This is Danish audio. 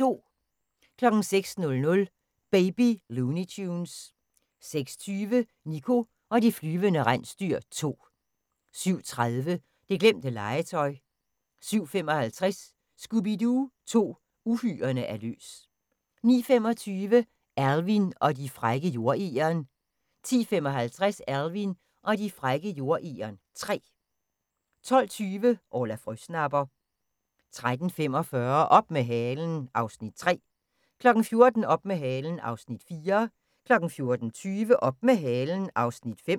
06:00: Baby Looney Tunes 06:20: Niko og de flyvende rensdyr 2 07:30: Det glemte legetøj 07:55: Scooby-Doo 2: Uhyrerne er løs 09:25: Alvin og de frække jordegern 10:55: Alvin og de frække jordegern 3 12:20: Orla Frøsnapper 13:45: Op med halen (Afs. 3) 14:00: Op med halen (Afs. 4) 14:20: Op med halen (Afs. 5)